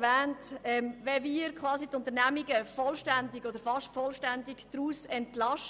Wenn wir nun die Unternehmungen vollständig oder fast vollständig aus